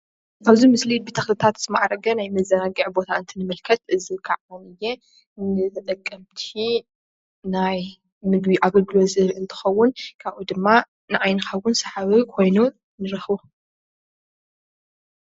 እዚ ቦታ ሰባት ዝዘናግዕሉ ቦታ ኣዝዩ ሰሓብን ውቅብን እዩ።